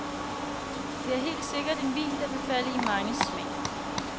Det er helt sikkert en vin, der vil falde i manges smag.